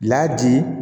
Ladi